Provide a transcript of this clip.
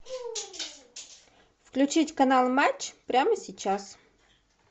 включить канал матч прямо сейчас